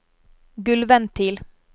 gulvventil